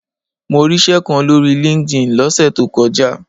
Mo ríṣẹ́ kan lórí LinkedIn lọ́sẹ̀ tó kọjá.